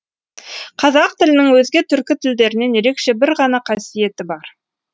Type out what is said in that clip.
қазақ тілінің өзге түркі тілдерінен ерекше бір ғана қасиеті бар